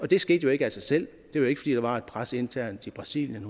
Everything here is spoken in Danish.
det skete jo ikke af sig selv det var jo var et pres internt i brasilien